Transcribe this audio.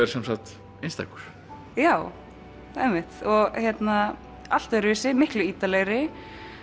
er sem sagt einstakur já einmitt og allt öðruvísi miklu ítarlegri